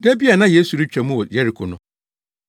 Da bi a na Yesu retwa mu wɔ Yeriko no,